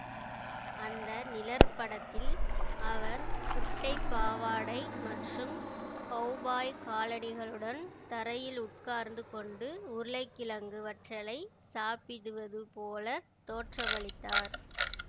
அந்த நிழற்படத்தில் அவர் குட்டைப் பாவாடை மற்றும் கௌபாய் காலணிகளுடன் தரையில் உட்கார்ந்து கொண்டு உருளைக்கிழங்கு வற்றலைச் சாப்பிடுவது போல தோற்றமளித்தார்